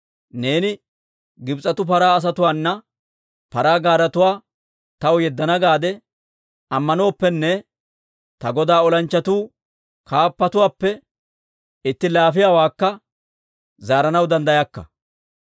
Neeni Gibs'etu paraa asatuwaana paraa gaaretuwaa taw yeddana gaade ammanooppenne, ta godaa olanchchatuu kaappatuwaappe itti laafiyaawaakka zaaranaw danddayakka.